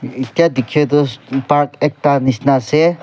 etia dekhi tu park ekta nisna ase.